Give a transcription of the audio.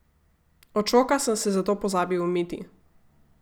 Od šoka sem se zato pozabil umiti.